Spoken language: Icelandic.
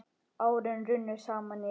Árin runnu saman í eitt.